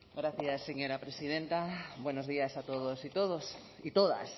gracias señora presidenta buenos días a todos y todas